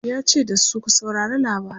yace da su "ku saurari labarai!